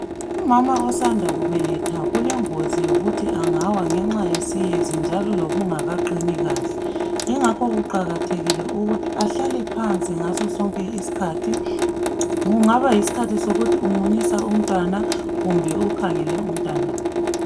Umama osanda kubeletha kulengozi yokuthi engawa ngenxa yesiyezi njalo lokungakaqini kahle. Kungakho kuqakathekile ukuthi ahlale phansi ngaso sonke isikhathi. Kungaba yisikhathi sokuthi umunyisa umntwana, kumbe ukhangele umntanakhe.